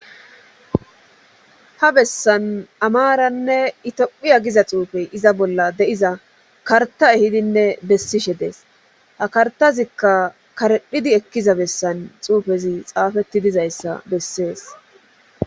Ha bessan amaranne itophiya giza xuufey iza bolla de7iza karta ehidinne bessishe dees ha kartazikka karedhidi ekkiza bessan xuufezi xaafetti dizayssa bessees.